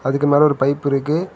அதுக்கு மேல ஒரு பைப் இருக்கு.